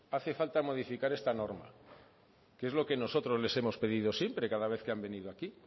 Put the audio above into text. hace falta modificar esta norma que es lo que nosotros les hemos pedido siempre cada vez que han venido aquí